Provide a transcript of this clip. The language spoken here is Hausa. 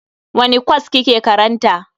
Wani kwas kike karanta?